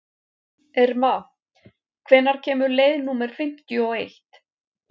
Irma, hvenær kemur leið númer fimmtíu og eitt?